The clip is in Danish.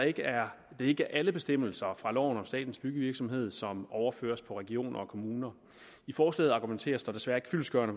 ikke er alle bestemmelser fra loven om statens byggevirksomhed som overføres på regioner og kommuner i forslaget argumenteres der desværre ikke fyldestgørende